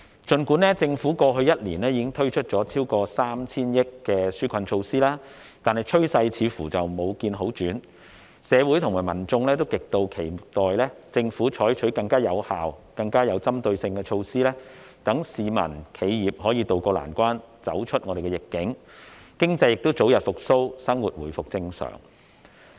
儘管政府過去1年已經推出超過 3,000 億元的紓困措施，但趨勢似乎未見好轉，社會和民眾都極期待政府採取更有效、更有針對性的措施，讓市民和企業可以渡過難關，走出疫境，經濟早日復蘇，生活回復正常。